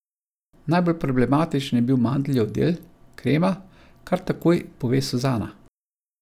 Najbolj problematičen je bil mandljev del, krema, kar takoj pove Suzana.